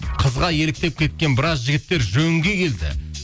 қызға еліктеп кеткен біраз жігіттер жөнге келді